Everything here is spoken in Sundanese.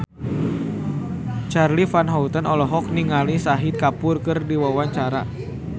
Charly Van Houten olohok ningali Shahid Kapoor keur diwawancara